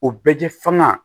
O bɛɛ tɛ fanga